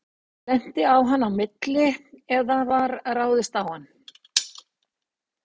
Lenti á hann á milli eða var ráðist á hann?